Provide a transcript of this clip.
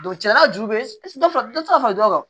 Don cɛla ju bɛ dɔ fara dɔ tɛ se ka fara dɔ kan